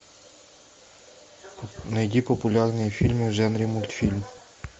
найди популярные фильмы в жанре мультфильм